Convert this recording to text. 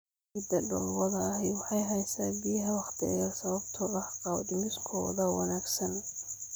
Ciidda dhoobada ahi waxay haysaa biyaha wakhti dheer sababtoo ah qaabdhismeedkooda wanaagsan.